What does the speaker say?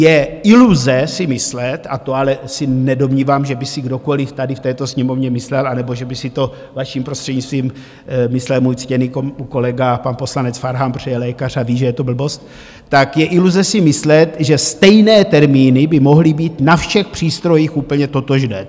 Je iluze si myslet - a to ale se nedomnívám, že by si kdokoliv tady v této Sněmovně myslel anebo že by si to, vaším prostřednictvím, myslel můj ctěný kolega pan poslanec Farhan, protože je lékař a ví, že je to blbost - tak je iluze si myslet, že stejné termíny by mohly být na všech přístrojích úplně totožné.